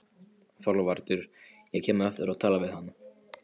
ÞORVALDUR: Ég kem á eftir og tala við hann.